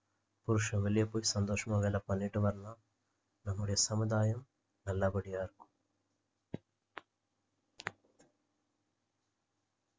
புருஷன் வெளிய போய் சந்தோஷமா வேலை பண்ணிட்டு வரலாம் நம்முடைய சமுதாயம் நல்லபடியா இருக்கும்